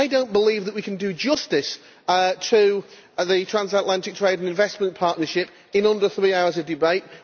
I do not believe that we can do justice to the Transatlantic Trade and Investment Partnership in under three hours of debate.